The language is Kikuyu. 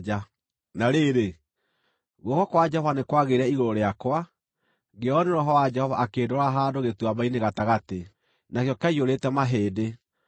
Na rĩrĩ, guoko kwa Jehova nĩ kwagĩire igũrũ rĩakwa, ngĩoywo nĩ Roho wa Jehova akĩndwara handũ gĩtuamba-inĩ gatagatĩ; nakĩo kĩaiyũrĩte mahĩndĩ.